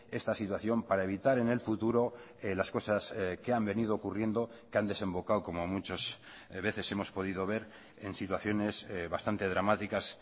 esta situación para evitar en el futuro las cosas que han venido ocurriendo que han desembocado como muchas veces hemos podido ver en situaciones bastante dramáticas